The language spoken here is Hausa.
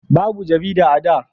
babu jarida a da